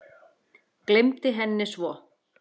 Gleymdi henni svo.